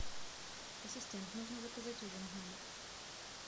ассистент нужно заказать ужин в номер